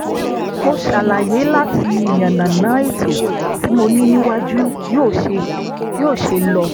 mo ṣàlàyé láti yànnàná ètò tí mo ní níwájú yóò ṣe lọ